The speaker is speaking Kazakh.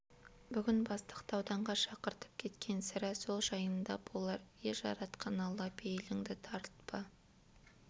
бүгін бастықты ауданға шақыртып кеткен сірә сол жайында болар е жаратқан алла пейіліңді тарылтпа